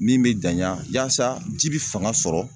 Min be janya yaasa ji be fanga sɔrɔ